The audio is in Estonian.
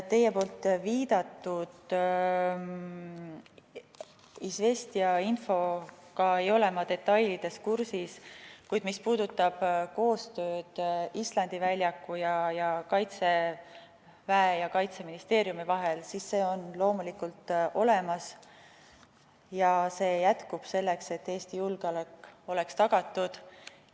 Teie viidatud Izvestija infoga ei ole ma detailides kursis, kuid mis puudutab koostööd Islandi väljaku ja Kaitseväe ja Kaitseministeeriumi vahel, siis see on loomulikult olemas ja jätkub selleks, et Eesti julgeolek oleks tagatud.